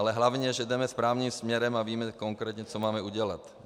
Ale hlavně že jdeme správným směrem a víme konkrétně, co máme udělat.